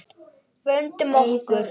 Vöndum okkur.